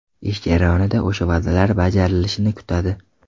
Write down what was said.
Ish jarayonida o‘sha va’dalar bajarilishini kutadi.